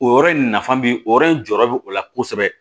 O yɔrɔ in nafa bi o yɔrɔ in jɔyɔrɔ bɛ o la kosɛbɛ